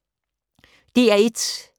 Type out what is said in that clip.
DR1